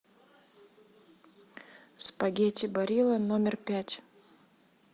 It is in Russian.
спагетти барилла номер пять